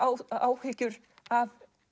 áhyggjur af